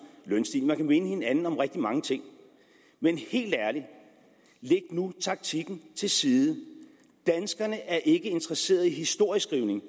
lønstigningen minde hinanden om rigtig mange ting men helt ærligt læg nu taktikken til side danskerne er ikke interesseret i historieskrivning